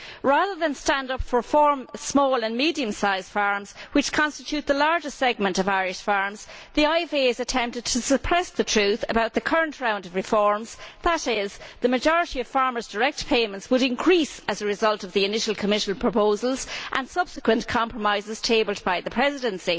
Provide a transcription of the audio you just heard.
Rather than standing up for small and medium sized farms, which constitute the largest segment of Irish farms, the IFA has attempted to suppress the truth about the current round of reforms, namely that the majority of farmers' direct payments would increase as a result of the initial Commission proposals and subsequent compromises tabled by the Presidency.